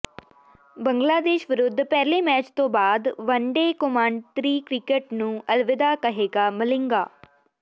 ਬੰਗਲਾਦੇਸ਼ ਵਿਰੁੱਧ ਪਹਿਲੇ ਮੈਚ ਤੋਂ ਬਾਅਦ ਵਨਡੇ ਕੌਮਾਂਤਰੀ ਕ੍ਰਿਕਟ ਨੂੰ ਅਲਵਿਦਾ ਕਹੇਗਾ ਮਲਿੰਗਾ